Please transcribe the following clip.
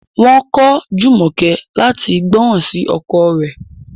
Wọn ko Jumoke lati gbọran si ọkọ rẹ̀